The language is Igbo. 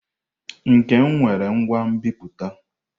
Nkem nwere ngwa nbipute.